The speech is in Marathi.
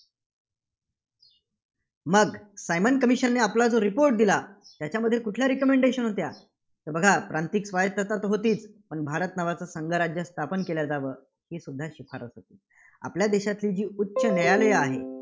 मग सायमन commission ने आपला report दिला त्याच्यामध्ये कुठल्या recommodation होत्या? तर बघा, प्रांतिक स्वायत्तता होती, पण भारत नावाचा संघराज्य स्थापन केलं जावं ही सुद्धा शिफारस होती. आपल्या देशातली जी उच्च न्यायालयं आहेत,